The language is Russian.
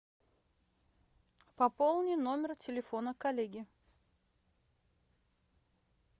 пополни номер телефона коллеги